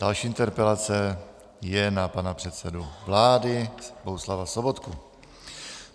Další interpelace je na pana předsedu vlády Bohuslava Sobotku.